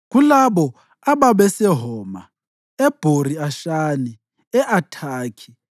Kulabo ababeseHoma, eBhori-Ashani, e-Athakhi